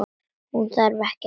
Hún þarf ekki rýting.